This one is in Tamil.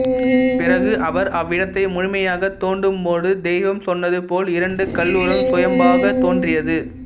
பிறகு அவர் அவ்விடத்தை முழுமையாக தோண்டும்போது தெய்வம் சொன்னது போல் இரண்டு கல்உருவம் சுயம்பாக தோன்றியது